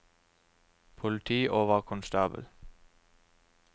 politioverkonstabel